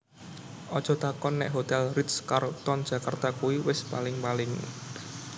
Ojo takon nek Hotel Ritz Carlton Jakarta kui wis paling paling